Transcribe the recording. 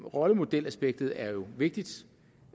rollemodelaspektet er jo vigtigt